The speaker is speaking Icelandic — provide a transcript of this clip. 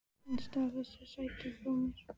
Hann stal þessu sæti frá mér!